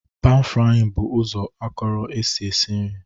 panfrying bụ ụzọ akọrọ esi esi nri